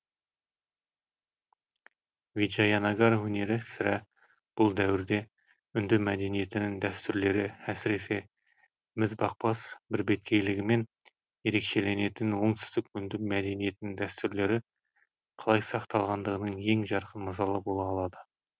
виджаянагар өнері сірә бұл дәуірде үнді мәдениетінің дәстүрлері әсіресе мізбақпас бірбеткейлігімен ерекшеленетін оңтүстік үнді мәдениетінің дәстүрлері қалай сақталғандығының ең жарқын мысалы бола алады